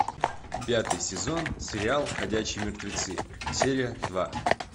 пятый сезон сериал ходячие мертвецы серия два